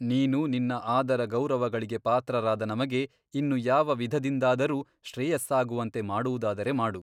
ನೀನು ನಿನ್ನ ಆದರ ಗೌರವಗಳಿಗೆ ಪಾತ್ರರಾದ ನಮಗೆ ಇನ್ನು ಯಾವ ವಿಧದಿಂದಾದರೂ ಶ್ರೇಯಸ್ಸಾಗುವಂತೆ ಮಾಡುವುದಾದರೆ ಮಾಡು.